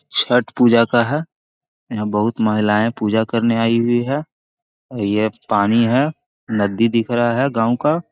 छठ पूजा का है यहाँ बहुत महिलाए पूजा करने आई हुई है| और ये पानी है नदी दिख रहा है गाँव का |